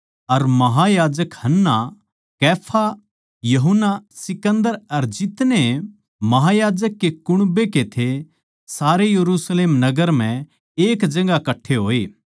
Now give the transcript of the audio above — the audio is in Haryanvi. अर महायाजक हन्ना अर कैफा अर यूहन्ना अर सिकन्दर अर जितने महायाजक के कुण्बै के थे सारे यरुशलेम नगर म्ह एक जगहां कट्ठे होए